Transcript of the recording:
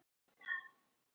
Þær voru til í það.